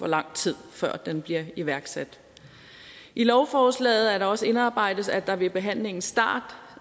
lang tid før den bliver iværksat i lovforslaget er der også indarbejdet at der ved behandlingens start